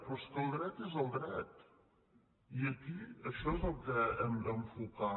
però és que el dret és el dret i aquí això és el que hem d’enfocar